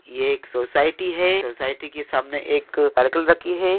एक सोसइटी हे सोसइटी की सम ने एक राकी हे।